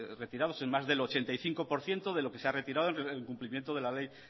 retirados más del ochenta y cinco por ciento de lo que se ha retirado en cumplimiento de la ley